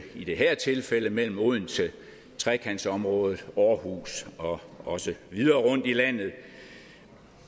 i det her tilfælde mellem odense trekantsområdet aarhus og også videre rundt i landet